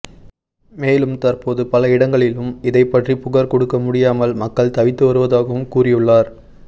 மேலும் தற்போது பல இடங்களிலும் இதை பற்றி புகார் கொடுக்கமுடியாமல் மக்கள் தவித்து வருவதாகவும் கூறியுள்ளார்